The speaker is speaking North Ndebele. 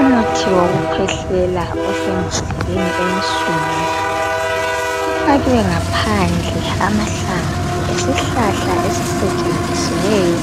Umuthi wokukhwehlela osembodleleni ensundu ufakiwe ngaphandle amahlamvu esihlahla esisetshenzisiweyo